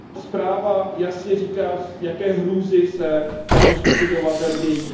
Zpráva jasně říká, jaké hrůzy se této skupině obyvatel dějí.